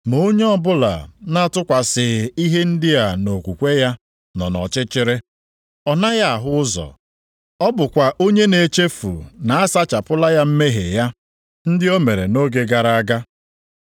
Ma onye ọbụla na-atụkwasịghị ihe ndị a nʼokwukwe ya nọ nʼọchịchịrị. Ọ naghị ahụ ụzọ. Ọ bụkwa onye na-echefu na a sachapụla ya mmehie ya, ndị o mere nʼoge gara aga.